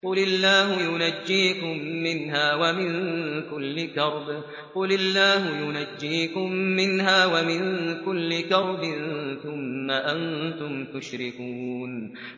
قُلِ اللَّهُ يُنَجِّيكُم مِّنْهَا وَمِن كُلِّ كَرْبٍ ثُمَّ أَنتُمْ تُشْرِكُونَ